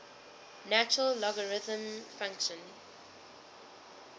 natural logarithm function